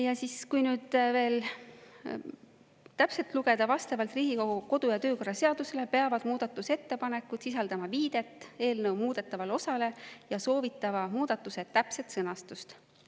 Ja kui nüüd veel täpselt lugeda, siis vastavalt Riigikogu kodu‑ ja töökorra seadusele peavad muudatusettepanekud sisaldama viidet eelnõu muudetavale osale ja soovitava muudatuse täpset sõnastust.